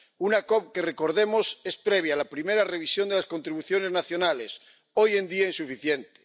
Una COP que ―recordemos― es previa a la primera revisión de las contribuciones nacionales, hoy en día insuficientes.